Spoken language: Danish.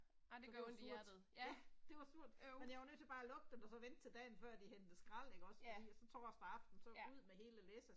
Så det var surt, ja, det var surt, men jeg var nødt til bare at lukke den og så vente til dagen før de hentede skrald ikke også fordi og så torsdag aften så ud med hele læsset